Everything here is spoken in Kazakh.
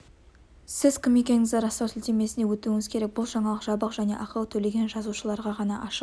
сіз кім екендігіңізді растау сілтемесіне өтуіңіз керек бұл жаңалық жабық және ақы төлеген жазылушыларға ғана ашық